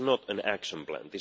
This is not an action plan.